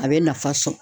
A bɛ nafa sɔrɔ